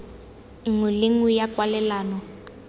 nngwe le nngwe ya kwalelano